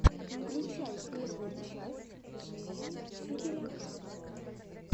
включай первую часть жизни сибиряка